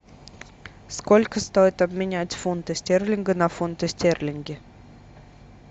сколько стоит обменять фунты стерлинга на фунты стерлинги